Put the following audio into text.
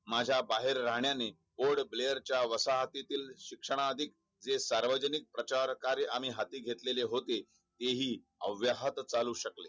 माझा बाहेर राहण्याने वसापोर्ट ब्लेअरहतीतील शिक्षणा अधिक हे सार्वजनिक प्रचार कार्य आंही हाती घेतलेले होते ते हि अवघ्या हात चालू शकले